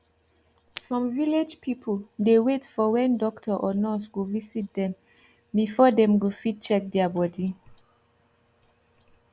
sum village pipu dey wait for wen doctor or nurse go visit dem before dem go fit check dia bodi